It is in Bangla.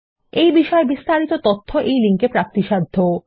এই বিষয় বিস্তারিত তথ্য এই লিঙ্ক এ প্রাপ্তিসাধ্য